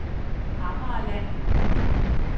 Amagerland